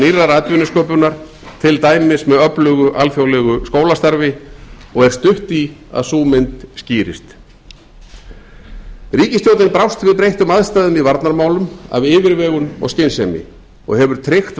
nýrrar atvinnusköpunar til dæmis með öflugu alþjóðlegu skólastarfi og er stutt í að sú mynd skýrist ríkisstjórnin brást við breyttum aðstæðum í varnarmálum af yfirvegun og skynsemi og hefur tryggt